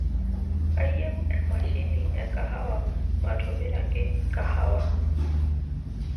kayieu emashini ekahawa matobiraki kahawa